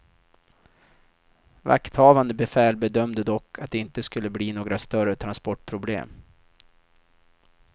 Vakthavande befäl bedömde dock att det inte skulle bli några större transportproblem.